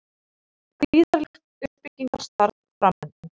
Gríðarlegt uppbyggingarstarf framundan